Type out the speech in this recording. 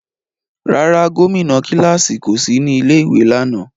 Rárá, gomina kilasi ko si ni ilé ìwé lánà.